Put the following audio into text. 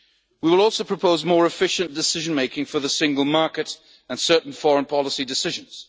of the Union. We will also propose more efficient decision-making for the single market and certain foreign policy